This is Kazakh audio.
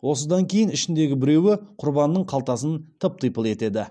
осыдан кейін ішіндегі біреуі құрбанының қалтасын тып типыл етеді